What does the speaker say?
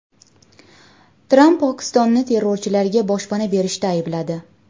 Tramp Pokistonni terrorchilarga boshpana berishda aybladi.